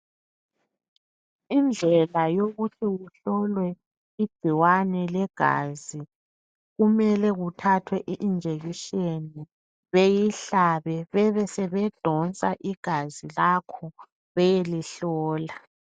Indlela yokuthi kuhlolwe igcikwane legazi kumele kuthathwe iinjection beyihlabe bebesebedonsa igazi lakho beyelihlola.